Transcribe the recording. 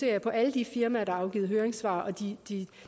jeg på alle de firmaer der har afgivet høringssvar og